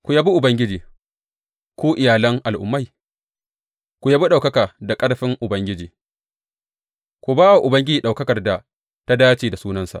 Ku yabi Ubangiji, ku iyalan al’ummai, ku yabi ɗaukaka da ƙarfin Ubangiji, ku ba wa Ubangiji ɗaukakar da ta dace da sunansa.